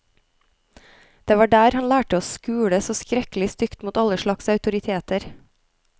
Det var der han lærte å skule så skrekkelig stygt mot alle slags autoriteter.